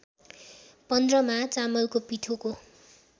पन्ध्रमा चामलको पिठोको